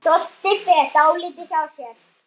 Doddi fer dálítið hjá sér.